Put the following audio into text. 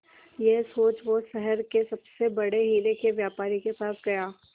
यह सोच वो शहर के सबसे बड़े हीरे के व्यापारी के पास गया